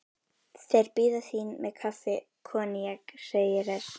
Þeir bíða þín með kaffi og koníak, segi ég hress.